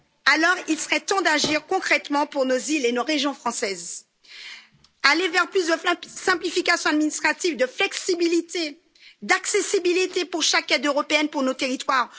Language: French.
Alors, il serait temps d'agir concrètement pour nos îles et nos régions françaises, aller vers plus de simplification administrative, de flexibilité, d'accessibilité pour chaque aide européenne pour nos territoires.